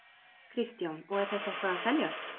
Kristján: Og er þetta eitthvað að seljast?